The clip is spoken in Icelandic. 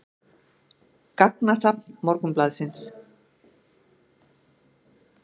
Gagnasafn Morgunblaðsins.